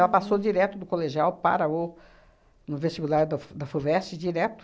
passou direto do colegial para o no vestibular da Fu da Fuvest, direto.